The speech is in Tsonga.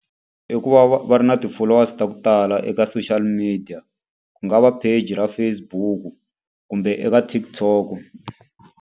I ku va va ri na ti-followers ta ku tala eka social media. Ku nga va page ra Facebook-u kumbe eka TikTok-o.